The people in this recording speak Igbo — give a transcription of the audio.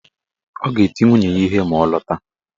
Ọ ga-eti nwunye ya ihe ma ọ lọta